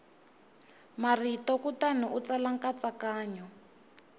marito kutani u tsala nkatsakanyo